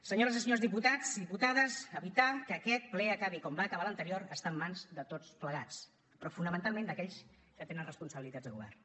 senyores i senyors diputades i diputats evitar que aquest ple acabi com va acabar l’anterior està en mans de tots plegats però fonamentalment d’aquells que tenen responsabilitats de govern